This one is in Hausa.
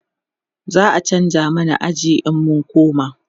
za'a chanza mana aji in mun koma